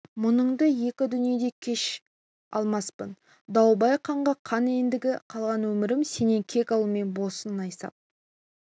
мұныңды екі дүниеде кеше алмаспын дауылбай қанға қан ендігі қалған өмірім сенен кек алумен болсын найсап